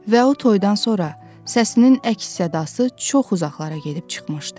Və o toydan sonra səsinin əks-sədası çox uzaqlara gedib çıxmışdı.